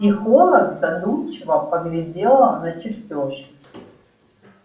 психолог задумчиво поглядела на чертёж